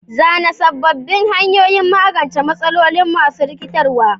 Zana sabbin hanyoyin magance matsaloli masu rikitarwa.